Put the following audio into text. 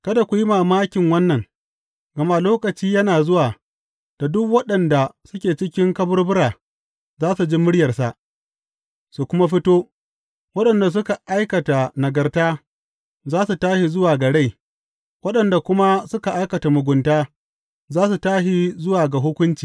Kada ku yi mamakin wannan, gama lokaci yana zuwa da duk waɗanda suke cikin kaburbura za su ji muryarsa su kuma fito, waɗanda suka aikata nagarta za su tashi zuwa ga rai, waɗanda kuma suka aikata mugunta za su tashi zuwa ga hukunci.